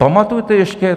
Pamatujete ještě?